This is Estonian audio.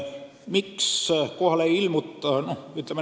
Miks kohale ei ilmuta?